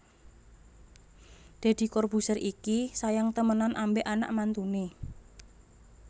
Dedy Corbuzier iki sayang temenan ambek anak mantune